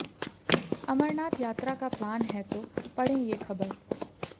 अमरनाथ यात्रा का प्लान है तो पढ़ें ये खबर